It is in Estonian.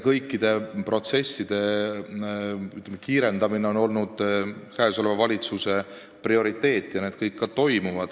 Kõikide nende protsesside kiirendamine on olnud käesoleva valitsuse prioriteet ja see kõik ka toimub.